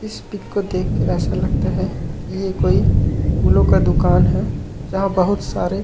इस पिक को देख के ऐसा लगता हे की ये कोई फूलो का दुकान हे जहाँ बहुत सारे--